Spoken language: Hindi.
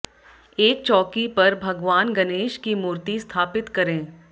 एक चौकी पर भगवान गणेश की मूर्ति स्थापित करें